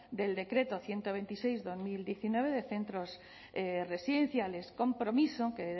del decreto ciento veintiséis barra dos mil diecinueve de centros residenciales compromiso que